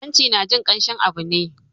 Hanci na jin kamshin abu ne